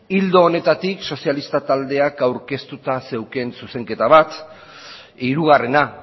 ildo honetatik sozialistak taldeak aurkeztuta zeukan zuzenketa bat hirugarrena